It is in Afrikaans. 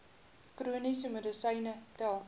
chroniese medisyne tel